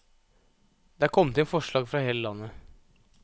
Det er kommet inn forslag fra hele landet.